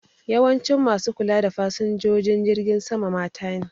Yawancin ma su kula da fasinjojin jirgin sama mata ne